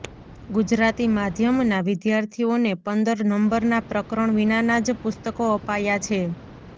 ગુજરાતી માધ્યમના વિદ્યાર્થીઓને પંદર નંબરના પ્રકરણ વિનાના જ પુસ્તકો અપાયા છે